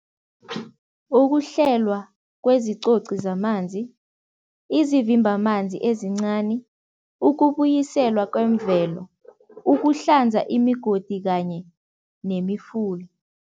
Ukuhlelwa kwezicoci zamanzi, izivimbamanzi ezincani, ukubuyiselwa kwemvelo, ukuhlanza imigodi kanye nemifula.